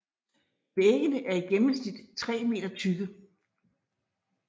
Væggene er i gennemsnit tre meter tykke